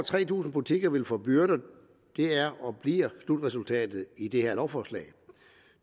tre tusind butikker vil få byrder det er og bliver slutresultatet i det her lovforslag